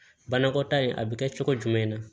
Banakɔtaa a bɛ kɛ cogo jumɛn na